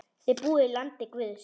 Þið búið í landi guðs.